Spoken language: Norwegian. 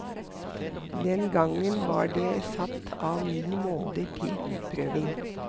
Den gangen var det satt av ni måneder til utprøving.